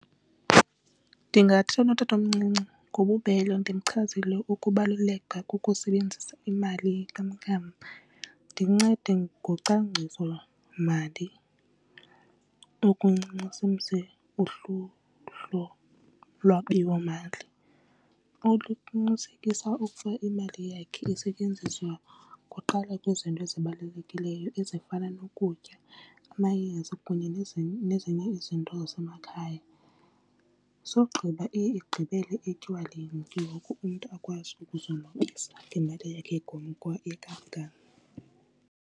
Ndingathetha notatomncinci ngobubele ndimchazele ukubaluleka kokusebenzisa imali yenkamnkam. Ndincede ngocwangcisomali okuncinci lwabiwomali oluqinisekisa ukuba imali yakhe isetyenziswa kuqala kwizinto ezibalulekileyo ezifana nokutya, amayeza kunye nezinye izinto zamakhaya. Sogqiba iye igqibele etywaleni ke ngoku umntu akwazi ukuzonwabisa ngemali yakhe yenkamnkam.